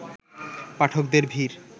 পাঠকদের ভিড়